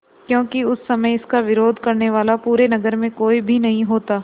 क्योंकि उस समय इसका विरोध करने वाला पूरे नगर में कोई भी नहीं होता